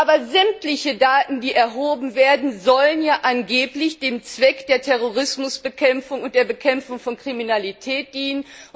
Aber sämtliche Daten, die erhoben werden, sollen ja angeblich dem Zweck der Terrorismusbekämpfung und der Bekämpfung von Kriminalität dienen!